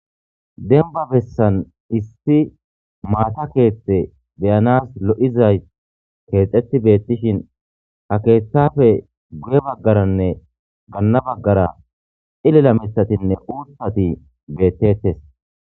denba bessan issi maata keethte beyanas lo7izay keexxetti beettishin ha keeththafe guye baggaranne ganna baggara ilela mitatinne uuttati beettettes